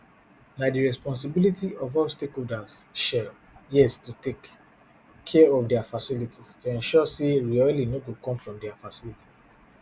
na di responsibility of all stakeholders shell yes to take care of dia facilities to ensure say reoiling no go come from dia facilities